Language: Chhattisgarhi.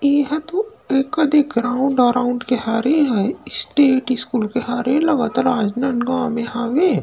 एहा तो ए कति ग्राउंड अराउंड के हरे हे स्टेट स्कूल के हरे लगत राजनाँदगाँव में हवे।